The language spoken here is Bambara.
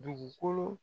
Dugukolo